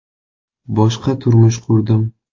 Boshqa turmush qurdim.